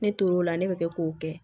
Ne tor'o la ne bɛ kɛ k'o kɛ